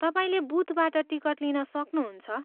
तपाईँले बुथबाट टिकट लिन सक्नुहुन्छ।